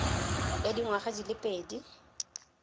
ya dingwaga di le pedi